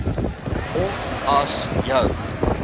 of as jou